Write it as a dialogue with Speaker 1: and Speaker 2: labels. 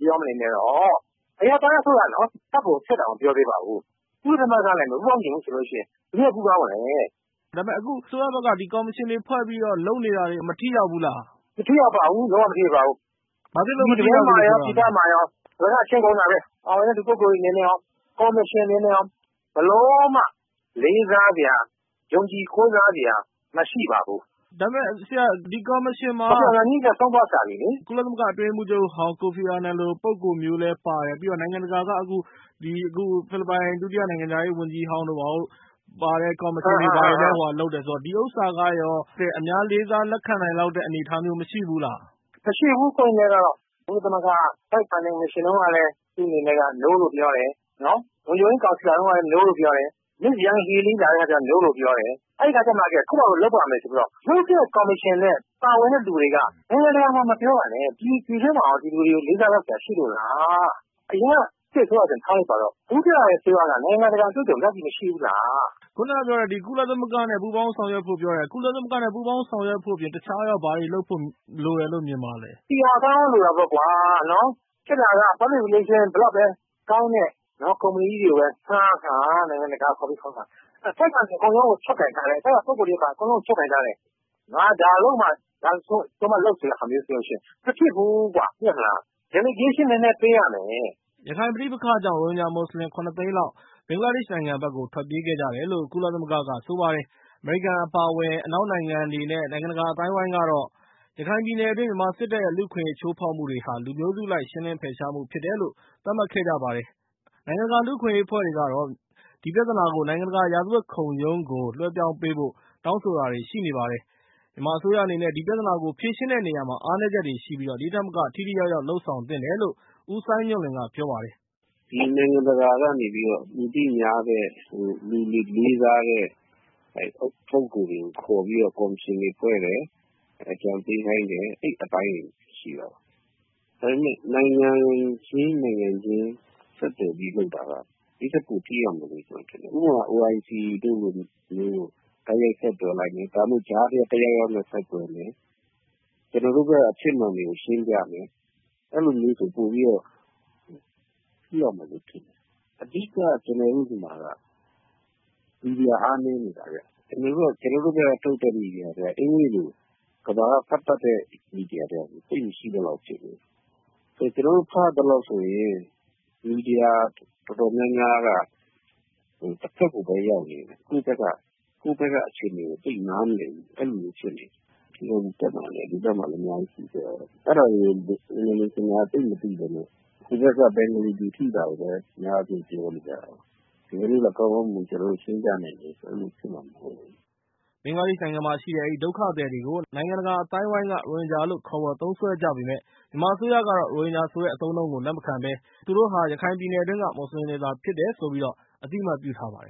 Speaker 1: ပြောမနေနဲ့၊ အဲဒီတော့- အရပ်သား အစိုးရနော်၊ တပ်ကို ထည့်တောင် မပြောသေးပါဘူး။ ကုလသမဂ္ဂနဲ့ မပူးပေါင်းချင်ဘူး ဆိုလို့ရှိရင် ဘယ်သူနဲ့ ပူးပေါင်းမလဲ၊” မေး။ ။ ဒါပေမယ့် အခု အစိုးရဘက်က
Speaker 2: ကော်မရှင်တွေဖွဲ့ပြီးတော့ လုပ်နေတာတွေ မထိရောက်ဘူးလား။ ဒေါက်တာခင်ဇော်ဝင်း။ ။ မထိရောက်ပါဘ
Speaker 1: ူး၊ လုံးဝ မထိရောက်ပါဘူး။ မေး။ ။ ဘာဖြစ်လို့ မထိရောက်ဘူးလို့ ပြောတာလဲ။ ဒေါက်တာ ခင်ဇော်ဝင်း။ ။ ပြည်တွင်းမှာရော ပြည်ပမှာရော အလကား အချိန်ကုန်တာပဲ။ ပါဝင်တဲ့ လူပုဂ္ဂိုလ်တွေအနေနဲ့ရော၊ ကော်မရှင်အနေနဲ့ရော ဘယ်လိုမှ လေးစားစရာ၊ ယုံကြည်ကိုးစားစရာ မရှိပါဘူး။ မေး။။ ။ ဒါပေမယ့် ဆရာ- ဒီကော်မရှင်မှာ --- ဒေါက်တာခင်ဇော်ဝင်း။ ။ ကိုဖီအာနန်ကြီးလည်း ဆုံးသွားရှာပြီလေ။ မေး။ ။ ကုလသမဂ္ဂအတွင်းရေးမှူ
Speaker 2: းချုပ်ဟောင်း ကိုဖီအာနန်လို ပုဂ္ဂိုလ်မျိုးလည်း ပါတယ်။ ပြီးတော့ နိုင်ငံတကာ က အခု ဖိလစ်ပိုင် ဒုတိယ နိုင်ငံခြားရေးဝန်ကြီးဟောင်းလည်း ပါတဲ့ ကော်မရှင်တွေ လုပ်တယ်ဆိုတဲ့ အခါ ကျ တော့ ဒီဥစ္စာကရော အများ လေးစား လက်ခံနိုင်လောက်တဲ့ အနေအထားမျိုး မရှိဘူးလား
Speaker 1: ။ ဒေါက်တာ ခင်ဇော်ဝင်း။ ။ မရှိဘူး၊ ကိုယ့်အနေနဲ့ကတော့ ကုလသမဂ္ဂက အတိုက်အခံတွေ.. မစ်ရှင်တုန်းကလည်း သူ့အနေနဲ့ No လို့ ပြောတယ်။ လုံခြုံရေးကောင်စီ လာတုန်းကလည်း No လို့ ပြောတယ်။ မစ္စ် ယန်ဟီလီး လာတုန်းကလည်း No လို့ ပြောတယ်။ အဲဒီအခါတွေကျမှ ကိုယ့်ဖာသာ ကိုယ် လုပ်ပါ့မယ်ဆိုပြီးတော့ လုပ်မယ့် ကော်မရှင်နဲ့ ပါဝင်တဲ့လူတွေက နိုင်ငံတကာမှာ မပြောပါနဲ့ ဒီ ပြည်တွင်းမှာရော ဒီလူတွေကို လေးစားလောက်စရာ ရှိလို့လား။ အရင်က စစ်အစိုးရဆိုရင် ထားလိုက်ပါတော့။ အခု တက်လာတဲ့အစိုးရက နိုင်ငံတကာ အတွေ့အကြုံတွေ ဒီလောက်ကြီး မရှိဘူးလား။ မေး။ ။ အ
Speaker 2: ခုကပြောတဲ့ ကုလသမဂ္ဂနဲ့ ပူးပေါင်း ဆောင်ရွက်ဖို့ ပြောတယ်။ ကုလသမဂ္ဂနဲ့ ပူးပေါင်းဆောင်ရွက်ဖို့ အပြင် တခြားရော ဘာတွေလုပ်ဖို့ လိုတယ်လို့ မြင်ပါသလဲ။ ဒ
Speaker 1: ေါက်တာ ခင်ဇော်ဝင်း။ ။…. ကောင်းကောင်း လိုတာပေါ့ကွာ။ ဖြစ်တာက ဘယ်လောက်ပဲ ကောင်း တဲ့ ကုမ္ပဏီကြီးတွေကိုပဲ ငှားငှား။ နိုင်ငံတကာက ကုမ္ပဏီကြီးတွေကိုပဲ ငှားငှား။ ထိပ်ကနေ အကုန်လုံး ကို ချုပ်ကိုင်ထားတယ်။ အောက်က ပုဂ္ဂိုလ်တွေ အကုန်လုံးကို ချုပ်ကိုင်ထားတယ်။ ငါ ဒါလုပ်မှာ၊ ငါလုပ်ဆိုမှ လုပ်ဆိုရင် မဖြစ်ဘူးကွ၊ သိတယ်မို့လား။ Delegation နည်းနည်း ပေးရမယ်
Speaker 2: ။ ရခိုင် ပဋိပက္ခကြောင့် ရိုဟင်ဂျာမွတ်စလင်တွေ ၇ သိန်းလောက် ဘင်္ဂလားဒေ့ရှ်နိုင်ငံဘက်ကို ထွက်ပြေးခဲ့ကြ တယ်လို့ ကုလသမဂ္ဂနဲ့ နိုင်ငံတကာက ဆိုပါတယ်။အမေရိကန်အပါအဝင် နဲ့ အနောက်နိုင်ငံတွေနဲ့ နိုင်ငံတကာအသိုင်းအဝိုင်းကတော့ ရခိုင်ပြည်နယ်တွင်း မြန်မာစစ်တပ်ရဲ့ လူ့ အခွင့်အရေးချိုးဖောက်မှုတွေဟာ လူမျိုးစုအလိုက်ရှင်းလင်းဖယ်ရှားမှုဖြစ်တယ်လို့ သတ်မှတ် ခဲ့ကြပြီး ဒီပြဿနာကို နိုင်ငံတကာရာဇဝတ်ခုံရုံးကို လွဲှပြောင်းပေးဖို့ တောင်းဆိုတာတွေလည်း ရှိနေပါတယ်။ မြန်မာအစိုးရအနေနဲ့ ဒီပြဿနာကို ဖြေရှင်းတဲ့နေရာမှာ အားနည်းချက်တွေရှိပြီး ဒီထက်မက ထိထိရောက်ရောက်လုပ်ဆောင်သင့်တယ်လို့ ဦးစိုင်းညွှန့်လွင်က ပြောပါတယ်
Speaker 3: ။ “နိုင်ငံတကာကနေပြီး လူသိများတဲ့၊ လူတွေလေးစားတဲ့ ပုဂ္ဂိုလ်တွေကို ခေါ်ပြီး ကော်မရှင်တွေဖွဲ့တယ်၊ အကြံပေးခိုင်းတယ်။ အဲဒီအပိုင်းတွေ ရှိတာပေါ့။ ဒါပေမယ့် နိုင်ငံချင်း နိုင်ငံချင်း ဆက်သွယ်ပြီး လုပ်တာက ဒိထက်ပို ထိရောက်မယ်လို့ ကျနော်ထင်တယ်။ ဥပမာ OIC တို့လိုမျိုးကို တိုက်ရိုက် ဆက်သွယ် လိုက်မယ်၊ ကြားထဲက တယောက်ယောက်နဲ့ ဆက်သွယ်မယ်။ ကျနော်တို့ဘက်က အဖြစ်မှန်တွေကို ရှင်းပြမယ်။ အဲဒီလိုမျိုးဆို ပိုပြီးတော့ ထိရောက်မယ်လို့ ထင်တယ်။ အဓိက-က ကျနော်တို့ဆီမှာက မီဒီယာ အားနည်းနေတာဗျ။ ကျနော်တို့ဘက်က ထုတ်တဲ့မီဒီယာတွေက အင်္ဂလိပ်လို ကမ္ဘာက ဖတ်တတ်တဲ့မီဒီယာတွေ သိပ်မရှိသလောက်ဖြစ်နေတယ်။..ဆိုတော့ ကျနော်တို့ ဖတ်ရသလောက်ဆိုရင် မီဒီယာ တော်တော်များများက တဘက်ကိုပဲ ရောက်နေတယ်။ ကိုယ့်ဘက်က အခြေအနေကို သိပ်နားမလည်ဘူး၊ အဲလိုမျိုး ဖြစ်နေတယ်။ ဒီဘက်မှာလည်း အများကြိး၊ အဲဒါတွေကို….က သိပ်မသိခဲ့ဘဲ ဟိုဘက်က ဘင်္ဂလီတွေ ထိတာကိုပဲ အများဆုံး ပြောနေကြတာကိုး။ သူတို့ကို ကျနော်တို့က ကောင်းကောင်းမွန်မွန် ရှင်းပြနိုင်တယ်ဆိုရင် အဲဒီလို ဖြစ်မှာမဟုတ်ဘူး။
Speaker 2: ” ဘင်္ဂလားဒေ့်ရှ်နိုင်ငံမှာရှိတဲ့ အဲဒီဒုက္ခသည်တွေကို နိုင်ငံတကာအသိုင်းအဝိုင်းက ရိုဟင်ဂျာလို့ ခေါ်ဝေါ်သုံးစွဲနေကြပေမယ့်၊ မြန်မာအစိုးရကတော့ရိုဟင်ဂျာဆိုတဲ့ အသုံးအနှုန်းကိုလက်မခံဘဲ၊ ရခိုင်ပြည်နယ်တွင်းက မွတ်စလင်တွေဖြစ်တယ်လို့သာအသိအမှတ်ပြုထားပါတယ်